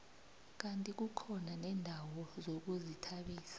kandi kukhona neendawo zokuzithabisa